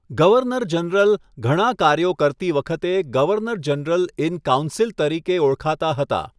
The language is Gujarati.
ગવર્નર જનરલ, ઘણા કાર્યો કરતી વખતે, 'ગવર્નર જનરલ ઇન કાઉન્સિલ' તરીકે ઓળખાતા હતા.